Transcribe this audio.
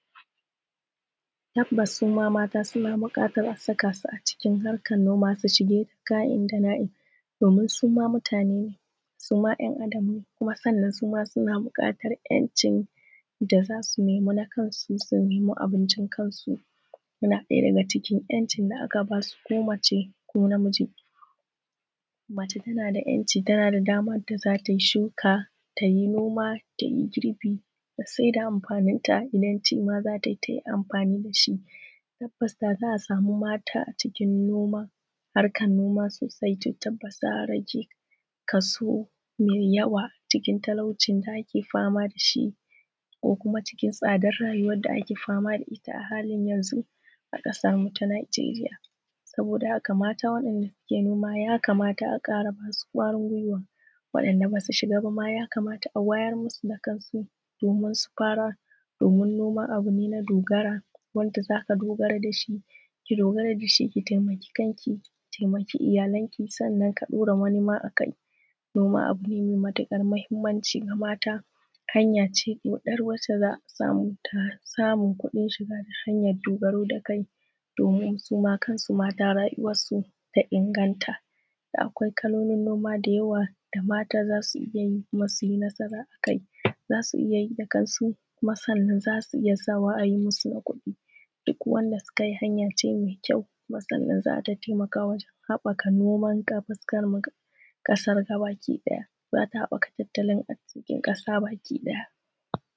Tabbatas suma mata suna buƙatar a saka su cikin harkar noma su yi ka'in da na'im su ma mutane ne, su ma yan Adam ne, suma suna buƙatar 'yancin da za su nema na kansu su nema abincin kansu. Suna ɗaya daga cikin 'yancin da aka ba su ko mace ko namiji. Mace tana da 'yanci tana damar da za ta yi shuka ta yi nkma ta yi girbi ta saida amfanita idan ci ma za ta yi ta yi amfani da shi. Tabbas da za asama mata a cikin noma a harkar noma sosai za a ƙara rage kaso mai yawa cikin talaucin da ake fama da shi ko kuma cikin tsadar rayuwa da ake fama da ita yanzu a ƙasar mu ta Nijeriya. Saboda haka mata wadanda suke noma ya kamata a kara ba su ƙwarin guiwa, waɗanda ba su shiga ma a wayar musu da kansu domin su fara. Domin noma bun yi ne na dogara wanda za a dogara da shi, ki dogara da shi ki taimakawa kanki ki taimaki iyanlanki ki daura wani ma a kai. Noma abu ne mai matuƙar mahimmanci ga mata. Hanya ce ɗoɗar wanda za a samu a sama kuɗin shiga don dogaro da kai domin su ma kansu mata rayuwarsu ta inganta. Akwai kalolin noma da yawa da mata za su iya yi su dogara a kai, za suniya yi da kansu kuma za su iya sawa a yi musu na kuɗi. Duk wanda suka yi hanya ce mai ƙyau da za ta taimaka wajen haɓaka noma ta fuskar ƙasarmu gaba ki ɗaya. Za ta haɓaka tattlin arzikinmu da ƙasa baki ɗaya